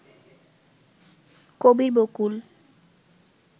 Kabir Bakul